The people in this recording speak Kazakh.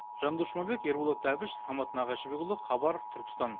жандос жұмабек ерболат әбіш самат нағашыбекұлы хабар түркістан